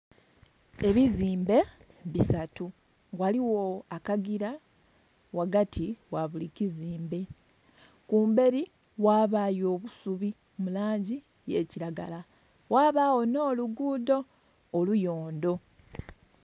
Ebizimbe bisatu, ghaligho akagira ghagati ghabuli kizimbe. Kumbeli ghabayo obusubi mu langi y'ekiragala ghabagho n'oluguudo oluyondo.